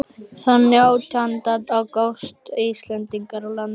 Þann nítjánda ágúst gengu Íslendingarnir á land í